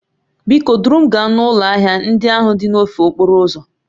Biko duru m gaa n'ụlọ ahịa ndị ahụ dị n'ofe okporo ụzọ